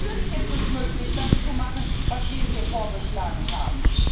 Natürlich ist es möglich, das zu machen, was wir hier vorgeschlagen haben!